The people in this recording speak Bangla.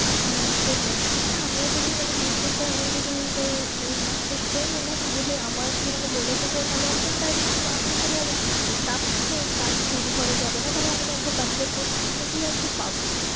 হ্যাঁ সেটাই না আমিও যদি মানে করে আমিও যদি তাই masters করে নি না তাহলে আমাকে মানে বলেছে যে তাহলে একদম direct আমি তাহলে আর staff থেকে কাজ শুরু করা যাবে না তাহলে আমি একদম manager post থেকেই আর কি পাবো।